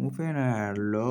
Mo fẹ́ràn àlọ́